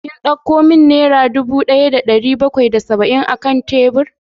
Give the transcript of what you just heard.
Kin dauko min naira dubu daya da dari bakwai da saba'in akan tebur?